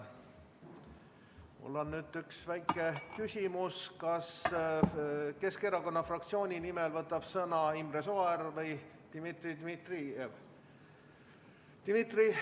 Mul on üks väike küsimus: kas Keskerakonna fraktsiooni nimel võtab sõna Imre Sooäär või Dmitri Dmitrijev?